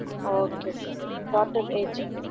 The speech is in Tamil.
Okay sir, daughter age